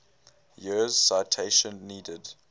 years citation needed